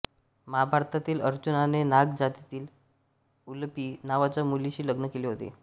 महाभारतातील अर्जुनाने नाग जातीतील उलुपी नावाच्या मुलीशी लग्न केले होते